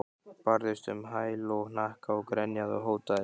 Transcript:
Barðist um á hæl og hnakka, grenjaði og hótaði.